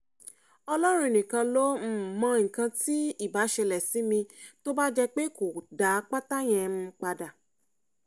ọlọ́run nìkan ló um mọ nǹkan tí ibà ṣẹlẹ̀ sí mi tó bá jẹ́ pé kò dá pátá yẹn um padà